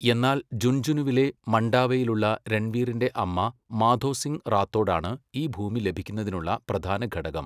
എന്നാൽ ജുൻജുനുവിലെ മണ്ടാവയിലുള്ള രൺവീറിൻ്റെ അമ്മ മാധോ സിംഗ് റാത്തോഡാണ് ഈ ഭൂമി ലഭിക്കുന്നതിനുള്ള പ്രധാന ഘടകം.